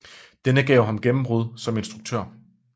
Denne gav ham gennembrud som instruktør